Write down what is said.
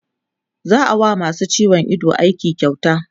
za'a wa masu ciwon Ido aiki kyauta